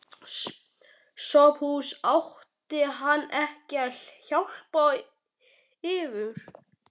SOPHUS: Átti hann ekki að hjálpa yður?